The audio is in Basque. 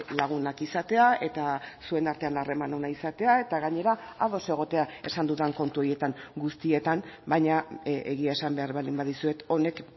lagunak izatea eta zuen artean harreman ona izatea eta gainera ados egotea esan dudan kontu horietan guztietan baina egia esan behar baldin badizuet honek